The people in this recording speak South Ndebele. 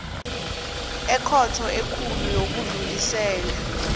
ekhotho ekulu yokudlulisela